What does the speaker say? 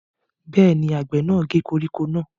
Bẹ́ẹ̀ ni, àgbẹ̀ náà gé koríko náà.